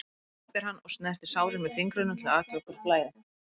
æpir hann og snertir sárin með fingrunum til að athuga hvort blæði.